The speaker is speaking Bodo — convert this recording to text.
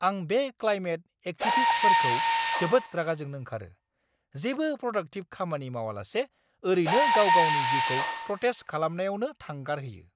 आं बे क्लाइमेट एक्टिभिस्टफोरखौ जोबोद रागा जोंनो ओंखारो, जेबो प्रडाक्टिभ खामानि मावालासे ओरैनो गाव-गावनि जिउखौ प्रटेस्ट खालामनायावनो थांगारहोयो!